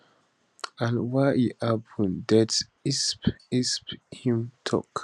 and why e happun det insp insp humm tok